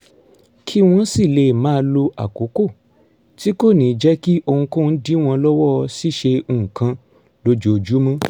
kí wọ́n sì lè máa lo àkókò tí kò ní jẹ́ kí ohunkóhun dí wọn lọ́wọ́ ṣíṣe nǹkan lójoojúmọ́